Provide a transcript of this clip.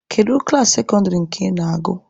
Kedu klaasị sekọndịrị nke ị na-agụ?